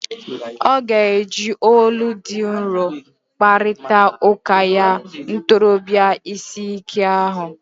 Ọ ga-eji olu dị nro kparịta ụka ya ntorobia ịsị ike ahụ.